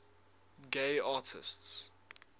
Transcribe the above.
gay artists